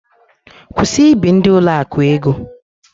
Kwụsị ị bi ndị ụlọakụ ego!